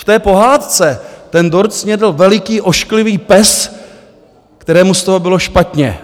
V té pohádce ten dort snědl veliký ošklivý pes, kterému z toho bylo špatně.